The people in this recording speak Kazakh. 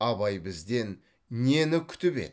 абай бізден нені күтіп еді